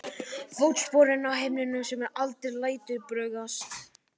Fótsporum á himnum sem aldrei lætur bugast.